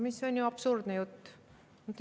See on ju absurdne jutt.